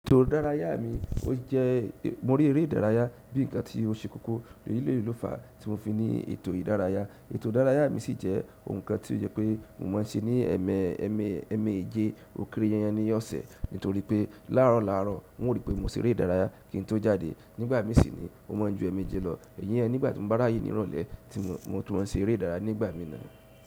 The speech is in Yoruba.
Ètò ìdárayá mi o je, mo rí eré ìdárayá bí ǹkan tí ó ṣe kókó. Bieleyi ló fàá tí mo fi ni ètò ìdárayá. Ètò ìdárayá mi sì jẹ́ ohun kan tí ó jẹ́ pé mo máa ń ṣe ní ẹmẹ́jẹ́ òkèèrè yẹn yen ní ọ̀sẹ̀ nítorí pé láàárọ̀ láàárọ̀ wọ́n rí pé mo ṣe eré ìdárayá kí n tó jáde. Nígbà mí sì ni, ó máa ń ju ẹmẹ́ẹjẹ́ lọ. Iyen ni nígbà tí mo bá ráyè ní ìrọ̀lẹ́, mo tún máa ṣe eré ìdárayá nígbà mí náà.